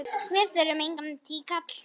Þá þurfum við engan tíkall!